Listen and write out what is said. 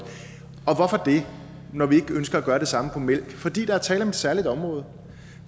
hvorfor det når vi ikke ønsker at gøre det samme på mælk fordi der er tale om et særligt område